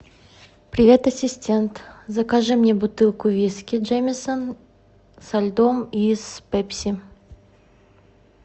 привет ассистент закажи мне бутылку виски джемесон со льдом и с пепси